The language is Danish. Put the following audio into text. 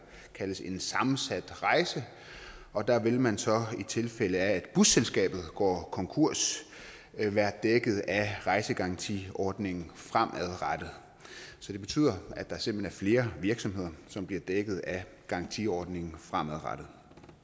kaldes en sammensat rejse og der vil man så i tilfælde af at busselskabet går konkurs være dækket af rejsegarantiordningen fremadrettet så det betyder at det simpelt hen er flere virksomheder som bliver dækket af garantiordningen fremadrettet